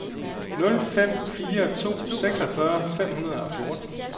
nul fem fire to seksogfyrre fem hundrede og fjorten